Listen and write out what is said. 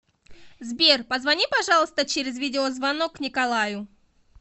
сбер позвони пожалуйста через видеозвонок николаю